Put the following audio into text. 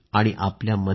आपल्यामध्ये आहे